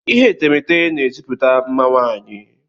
Ihe etemeete n'ezipụta mma nwaanyị.